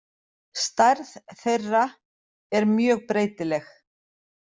Stærð þeirra er mjög breytileg.